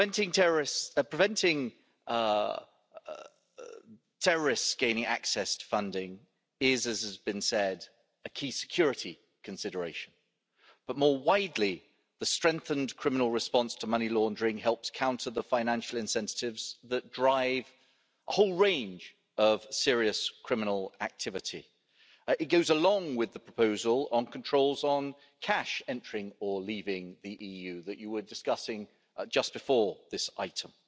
It hasn't quite struck midnight yet. Preventing terrorists gaining access to funding is, as has been said, a key security consideration, but more widely, the strengthened criminal response to money laundering helps counter the financial incentives that drive a whole range of serious criminal activity. It goes along with the proposal on controls on cash entering or leaving the EU that you were discussing just before this item.